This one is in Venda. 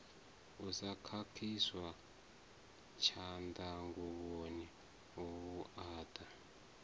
u sa khakhiswa tshanḓanguvhoni vhuaḓa